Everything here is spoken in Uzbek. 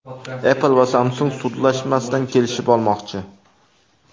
Apple va Samsung sudlashmasdan kelishib olmoqchi.